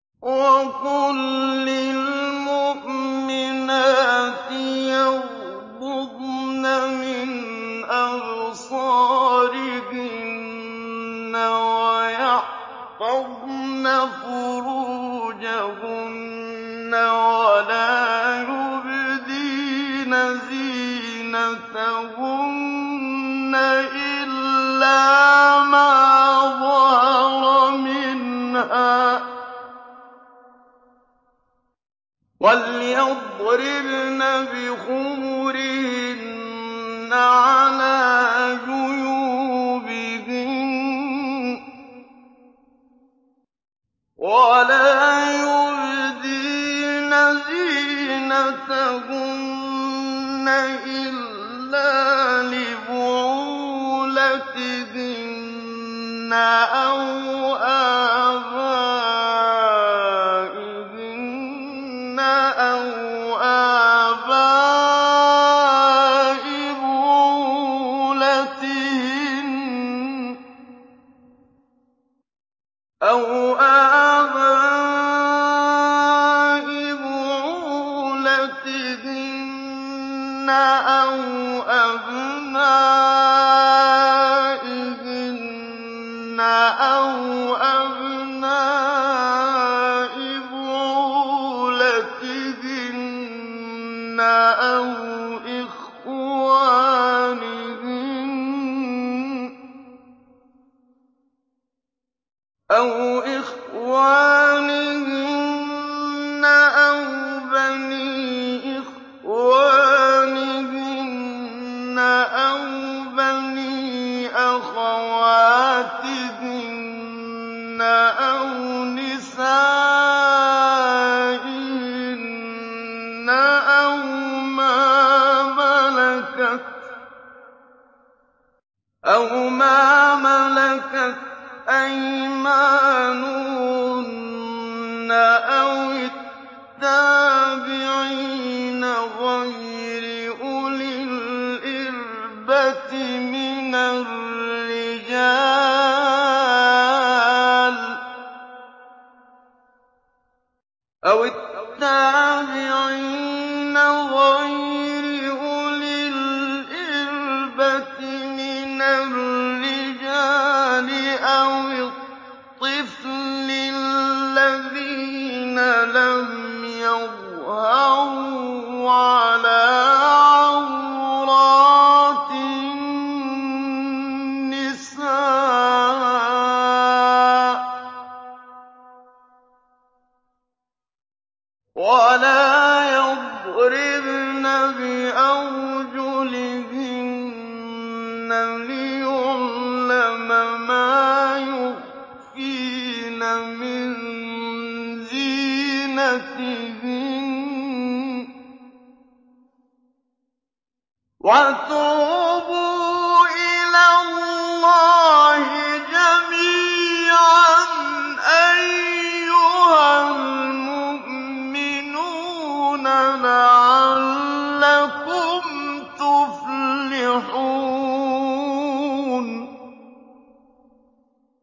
وَقُل لِّلْمُؤْمِنَاتِ يَغْضُضْنَ مِنْ أَبْصَارِهِنَّ وَيَحْفَظْنَ فُرُوجَهُنَّ وَلَا يُبْدِينَ زِينَتَهُنَّ إِلَّا مَا ظَهَرَ مِنْهَا ۖ وَلْيَضْرِبْنَ بِخُمُرِهِنَّ عَلَىٰ جُيُوبِهِنَّ ۖ وَلَا يُبْدِينَ زِينَتَهُنَّ إِلَّا لِبُعُولَتِهِنَّ أَوْ آبَائِهِنَّ أَوْ آبَاءِ بُعُولَتِهِنَّ أَوْ أَبْنَائِهِنَّ أَوْ أَبْنَاءِ بُعُولَتِهِنَّ أَوْ إِخْوَانِهِنَّ أَوْ بَنِي إِخْوَانِهِنَّ أَوْ بَنِي أَخَوَاتِهِنَّ أَوْ نِسَائِهِنَّ أَوْ مَا مَلَكَتْ أَيْمَانُهُنَّ أَوِ التَّابِعِينَ غَيْرِ أُولِي الْإِرْبَةِ مِنَ الرِّجَالِ أَوِ الطِّفْلِ الَّذِينَ لَمْ يَظْهَرُوا عَلَىٰ عَوْرَاتِ النِّسَاءِ ۖ وَلَا يَضْرِبْنَ بِأَرْجُلِهِنَّ لِيُعْلَمَ مَا يُخْفِينَ مِن زِينَتِهِنَّ ۚ وَتُوبُوا إِلَى اللَّهِ جَمِيعًا أَيُّهَ الْمُؤْمِنُونَ لَعَلَّكُمْ تُفْلِحُونَ